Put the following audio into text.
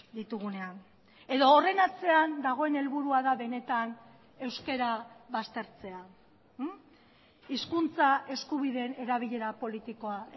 ditugunean edo horren atzean dagoen helburua da benetan euskara baztertzea hizkuntza eskubideen erabilera politikoa